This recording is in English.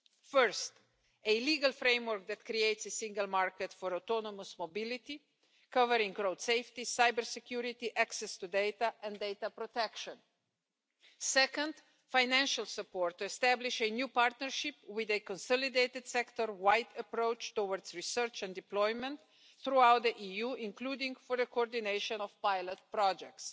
First, a legal framework that creates a single market for autonomous mobility, covering road safety, cybersecurity, access to data and data protection. Second, financial support to establish a new partnership with a consolidated sector-wide approach towards research and deployment throughout the EU, including for the coordination of pilot projects.